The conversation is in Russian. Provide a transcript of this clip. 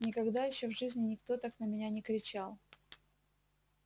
никогда ещё в жизни никто так на меня не кричал